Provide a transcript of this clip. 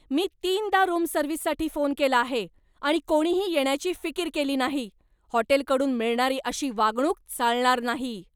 मी तीनदा रूम सर्व्हिससाठी फोन केला आहे, आणि कोणीही येण्याची फिकीर केली नाही! हॉटेलकडून मिळणारी अशी वागणूक चालणार नाही.